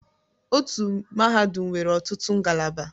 Otu mahadum nwere ọtụtụ ngalaba.